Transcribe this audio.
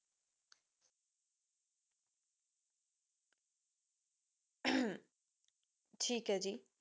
ਥੇਕ ਹੈ ਜੀ